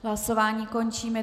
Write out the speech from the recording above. Hlasování končím.